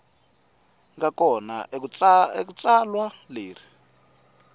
nga kona eka tsalwa leri